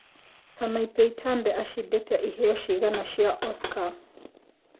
Sanapei Tande acĩndĩte ĩheo cigana cia Oscar